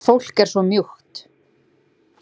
Fólk er svo mjúkt.